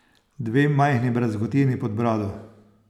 Dve majhni brazgotini pod brado.